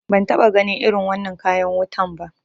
Ban taɓa ganin irin wannan kayan wutan ba